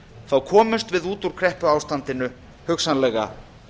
þá komumst við út úr kreppuástandinu hugsanlega